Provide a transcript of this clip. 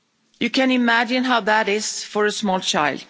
You can imagine how that is for a small child.